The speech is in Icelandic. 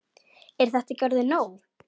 Er þetta ekki orðið nóg?